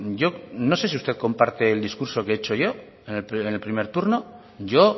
yo no sé si usted comparte el discurso que he hecho yo en el primer turno yo